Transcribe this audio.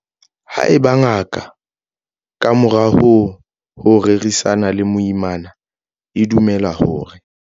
Haeba ngaka, ka morao ho ho rerisana le moimana, e dumela hore.